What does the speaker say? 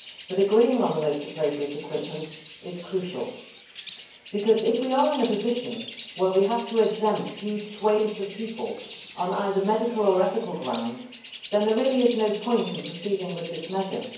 Agreeing on the most appropriate equipment is crucial, however, because if we are in a position where we have to exempt huge swathes of people on medical or ethical grounds, then there really is no point in proceeding with this measure.